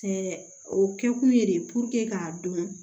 Ɛɛ o kɛkun ye de k'a dɔn